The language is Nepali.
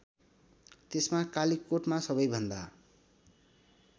त्यसमा कालीकोटमा सबैभन्दा